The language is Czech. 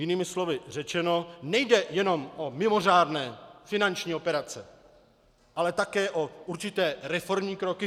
Jinými slovy řečeno, nejde jenom o mimořádné finanční operace, ale také o určité reformní kroky.